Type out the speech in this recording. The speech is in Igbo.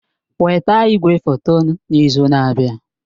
Weta igwefoto n'izu na-abịa!